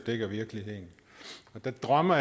dækker virkeligheden jeg drømmer